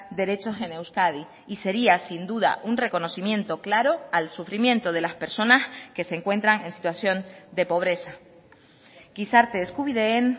derechos en euskadi y sería sin duda un reconocimiento claro al sufrimiento de las personas que se encuentran en situación de pobreza gizarte eskubideen